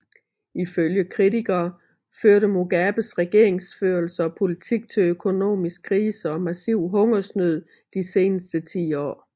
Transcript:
Ifølge kritikere førte Mugabes regeringsførelse og politik til økonomisk krise og massiv hungersnød de seneste ti år